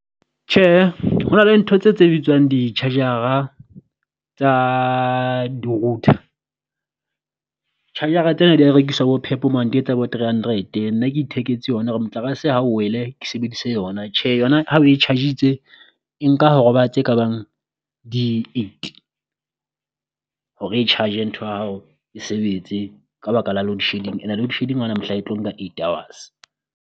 Tjhe ho na le ntho tse tse bitswang di charge-ara tsa di router, charger-ra tsena di ya rekiswa bo PEP mane di etsa bo three hundred. Nna ke itheketse yona hore motlakase ha o wele ke sebedise yona, tjhe yona ha o e charge-itse e nka ho roba tse ka bang di eight hore e charge-e ntho ya hao e sebetse ka baka la load shedding, and-a load shedding haona mohla e tlo nka eight hours.